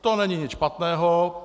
To není nic špatného.